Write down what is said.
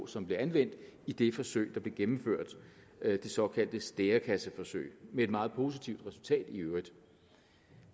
som blev anvendt i det forsøg der blev gennemført det såkaldte stærekasseforsøg med et meget positivt resultat i øvrigt